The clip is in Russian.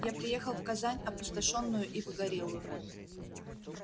я приехал в казань опустошённую и погорелую